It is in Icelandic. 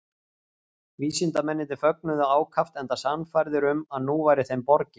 Vísindamennirnir fögnuðu ákaft enda sannfærðir um að nú væri þeim borgið.